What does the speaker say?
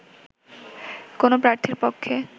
কোনো প্রার্থীর পক্ষে